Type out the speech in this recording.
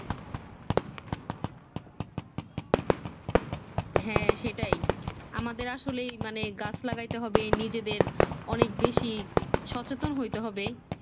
হ্যাঁ সেটাই আমাদের আসলে মানে গাছ লাগাইতে হবে নিজেদের অনেক বেশি সচেতন হইতে হবে